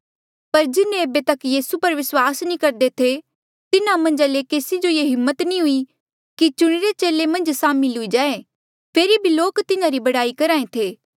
पर जिन्हें ऐबे तक यीसू पर विस्वास नी करदे थे तिन्हा मन्झा ले केसी जो ये हिम्मत नी हुई कि चुणिरे चेले मन्झ सामिल हुई जाए फेरी भी लोक तिन्हारी बड़ाई करहा ऐें थे